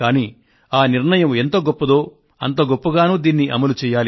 ఇది ఎంతో ముఖ్యమైన నిర్ణయం అయితే దీనిని అమలుచేయడం కూడా అంతే ముఖ్యమైంది కూడా